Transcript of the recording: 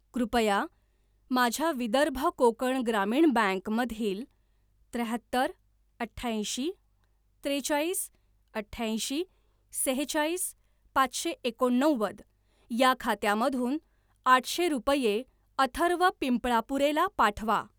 कृपया माझ्या विदर्भ कोकण ग्रामीण बँक मधील त्र्याहत्तर अठ्याऐंशी त्रेचाळीस अठ्याऐंशी सेहेचाळीस पाचशे एकोणनव्वद या खात्यामधून आठशे रुपये अथर्व पिंपळापुरे ला पाठवा.